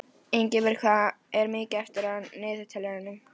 Ingibjört, hvað er mikið eftir af niðurteljaranum?